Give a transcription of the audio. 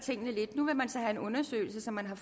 nu vil man så have en undersøgelse som man har